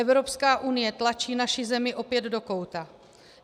Evropská unie tlačí naši zemi opět do kouta.